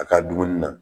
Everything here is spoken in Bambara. A ka dumuni na